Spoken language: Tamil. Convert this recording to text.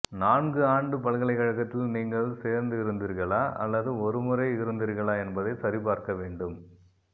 நான்கு ஆண்டு பல்கலைக்கழகத்தில் நீங்கள் சேர்ந்திருந்தீர்களா அல்லது ஒரு முறை இருந்தீர்களா என்பதை சரிபார்க்க வேண்டும்